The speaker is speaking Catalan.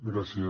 gràcies